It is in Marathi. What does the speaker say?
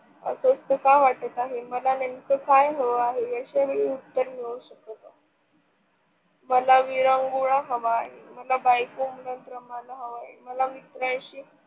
अस का वाटत आहे मला नेमक के हव आहे आशा वेळी उत्तर मिळू शकत मला विरंगुळा हवा आहे. मला बायको, मुलांप्रमाण हवं आहे, मला मित्रांशी